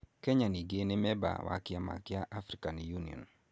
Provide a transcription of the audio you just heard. Kenya ningĩ nĩ memba wa Kĩama kĩa African Union.